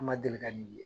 An ma deli ka min ye